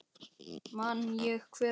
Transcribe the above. Man ég hver hann var?